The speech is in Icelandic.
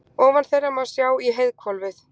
Ofan þeirra má sjá í heiðhvolfið.